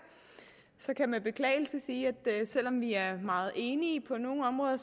så kan jeg med beklagelse sige at selv om vi er meget enige på nogle områder